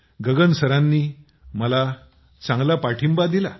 गगन सरांनी मला चांगला पाठिंबा दिला